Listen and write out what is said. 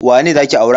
Wane za ki aura?